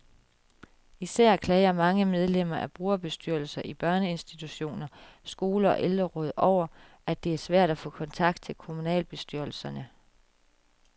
Især klager mange medlemmer af brugerbestyrelser, i børneinstitutioner, skoler og ældreråd, over, at det er svært at få kontakt til kommunalbestyrelserne.